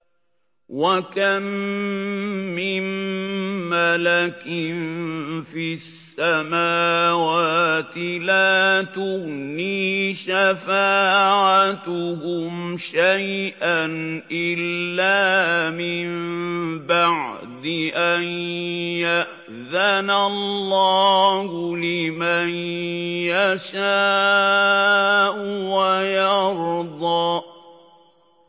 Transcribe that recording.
۞ وَكَم مِّن مَّلَكٍ فِي السَّمَاوَاتِ لَا تُغْنِي شَفَاعَتُهُمْ شَيْئًا إِلَّا مِن بَعْدِ أَن يَأْذَنَ اللَّهُ لِمَن يَشَاءُ وَيَرْضَىٰ